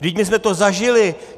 Vždyť my jsme to zažili.